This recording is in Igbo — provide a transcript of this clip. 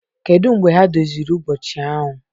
Kedu mgbe ha doziri ụbọchị ahụ?